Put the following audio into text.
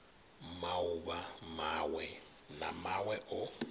mauvha mawe na mawe o